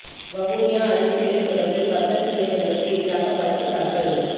வவுனியாவில் அரிசி விலை தொடர்பில் வர்த்தக நிலையங்களுக்கு எதிராக வழக்கு தாக்கல்